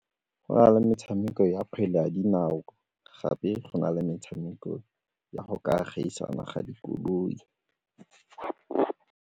Go na le metshameko ya kgwele ya dinao gape go na le metshameko ya go ka gaisana ga dikoloi.